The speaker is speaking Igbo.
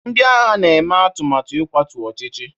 Ndị agha na-eme atụmatụ ịkwatu ọchịchị